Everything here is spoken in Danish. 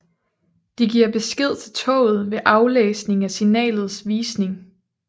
De giver besked til toget ved aflæsning af signalets visning